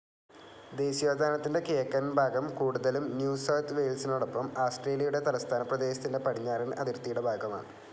ദേശീയോദ്യാനത്തിൻ്റെ കിഴക്കൻ ഭാഗം കൂടുതലും ന്യൂ സൌത്ത്‌ വെയ്ൽസിനോടൊപ്പം ആസ്ട്രേലിയയുടെ തലസ്ഥാനപ്രദേശത്തിൻ്റെ പടിഞ്ഞാറൻ അതിർത്തിയുടെ ഭാഗ്യമാണ്.